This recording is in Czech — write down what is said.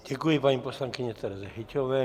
Děkuji paní poslankyni Tereze Hyťhové.